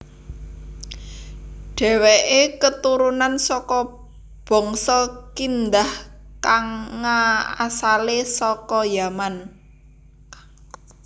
Déwèké keturunan saka bangsa Kindah kanga asalé saka Yaman